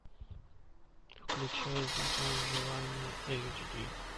включай закон желания эйч ди